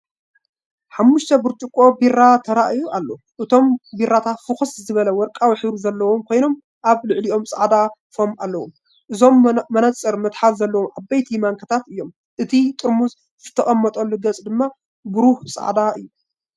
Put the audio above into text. ሓሙሽተ ብርጭቆ ቢራ ተራእዩ ኣሎ። እቶም ቢራታት ፍኹስ ዝበለ ወርቃዊ ሕብሪ ዘለዎም ኮይኖም ኣብ ልዕሊኦም ጻዕዳ ፎም ኣለዎም። እቶም መነጽር መትሓዚ ዘለዎም ዓበይቲ ማንካታት እዮም። እቲ ጥርሙዝ ዝተቐመጠሉ ገጽ ድማ ንብሩህ ጻዕዳ እዩ።